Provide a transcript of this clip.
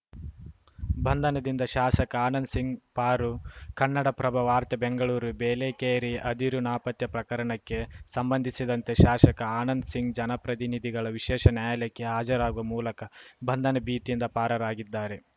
ಬಂಧನದಿಂದ ಶಾಸಕ ಆನಂದ ಸಿಂಗ್‌ ಪಾರು ಕನ್ನಡಪ್ರಭ ವಾರ್ತೆ ಬೆಂಗಳೂರು ಬೇಲೆಕೇರಿ ಅದಿರು ನಾಪತ್ತೆ ಪ್ರಕರಣಕ್ಕೆ ಸಂಬಂಧಿಸಿದಂತೆ ಶಾಶಕ ಆನಂದ್‌ ಸಿಂಗ್‌ ಜನಪ್ರತಿನಿಧಿಗಳ ವಿಶೇಷ ನ್ಯಾಯಾಲಯಕ್ಕೆ ಹಾಜರಾಗುವ ಮೂಲಕ ಬಂಧನ ಭೀತಿಯಿಂದ ಪಾರರಾಗಿದ್ದಾರೆ